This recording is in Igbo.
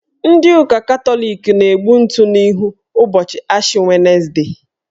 Ndị ụka Katọlik na-egbu ntụ n'ihu ụbọchị Ashi wenesde.